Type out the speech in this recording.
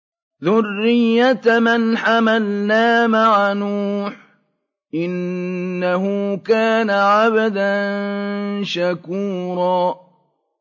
ذُرِّيَّةَ مَنْ حَمَلْنَا مَعَ نُوحٍ ۚ إِنَّهُ كَانَ عَبْدًا شَكُورًا